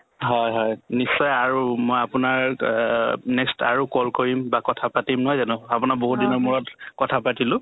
হয় হয় নিশ্চয় আৰু মই আপোনাক অ next আৰু call কৰিম বা কথাপাতিম নহয় জানো আপোনাক বহুত দিনৰ মূৰত কথা পাতিলো